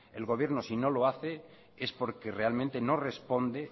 el gobierno si no lo hace es porque realmente no responde